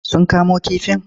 Sun kamo kifin?